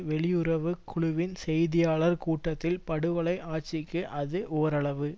வெளியுறவு குழுவின் செய்தியாளர் கூட்டத்தில் படுகொலை ஆசிக்கு அது ஓரளவு